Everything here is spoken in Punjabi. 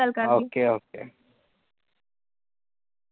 ਗੱਲ ਕਰਦੀਂ, okay okay.